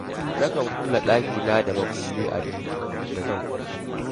Nakan kulle ɗakina da mukulli a duk lokacin da zan kwanta.